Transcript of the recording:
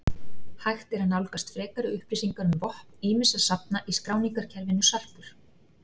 Hægt er að nálgast frekari upplýsingar um vopn ýmissa safna í skráningarkerfinu Sarpur.